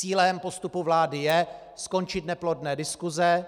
Cílem postupu vlády je skončit neplodné diskuse,